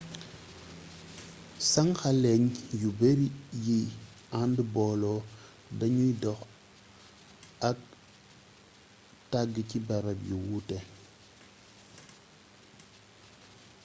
sànxaleñ yu bari yiy ànd booloo dañuy dox ak a tàgg ci barab yu wuute